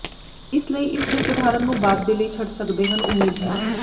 ਇਸ ਲਈ ਇਸ ਦੇ ਸਧਾਰਨ ਨੂੰ ਬਾਅਦ ਦੇ ਲਈ ਛੱਡ ਸਕਦੇ ਹਨ ਉਮੀਦ ਹੈ